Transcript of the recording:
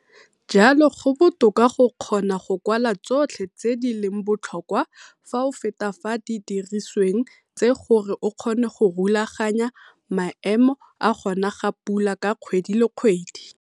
Jalo go botoka go kgona go kwala tsotlhe tse di leng botlhokwa fa o feta fa didirisweng tse gore o kgone go rulaganya maemo a go na ga pula ka kgwedi le kgwedi.